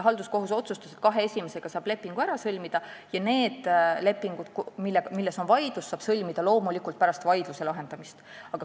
Halduskohus otsustas, et kahe esimesega saab lepingu ära sõlmida ja need lepingud, mille üle on vaidlus, saab loomulikult sõlmida pärast vaidluse lahendamist.